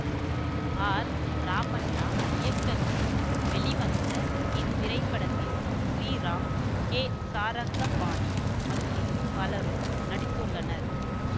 R Ramanna இயக்கத்தில் வெளிவந்த இத்திரைப்படத்தில் ஸ்ரீராம் கே சாரங்கபாணி மற்றும் பலரும் நடித்துள்ளனர்